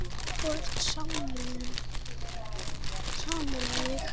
Þú ert samur við þig!